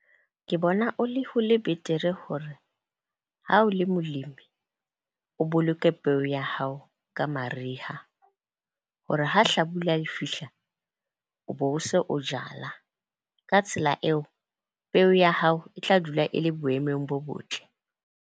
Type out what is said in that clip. Ke bona o le ho le betere hore ha o le molemi o boloke peo ya hao ka mariha, hore ha hlabula le fihla o bo o se o jala. Ka tsela eo, peo ya hao e tla dula e le boemong bo botle.